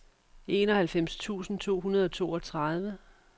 enoghalvfems tusind to hundrede og toogtredive